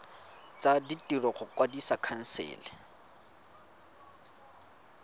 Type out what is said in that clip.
tsa ditiro go kwadisa khansele